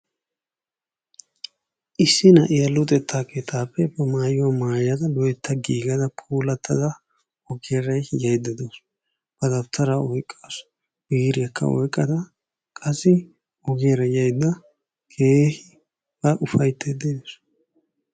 Issi na'iya luxetta keettaappe maayuwa maayada loytta giiggida puulatada ogiyaara yaayida dawusu. A dawutaara oyqqasu biryakka oyqqada qassi ogiyaara yayida keehi a ufayttayda dawusu.